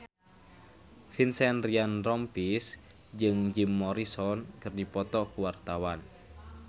Vincent Ryan Rompies jeung Jim Morrison keur dipoto ku wartawan